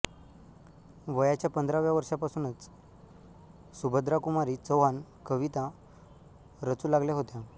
वयाच्या पंधराव्या वर्षापासूनच सुभद्राकुमारी चौहान कविता रचू लागल्या होत्या